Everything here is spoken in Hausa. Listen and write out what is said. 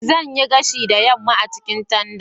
Zan yi gashi da yamma a cikin tanda.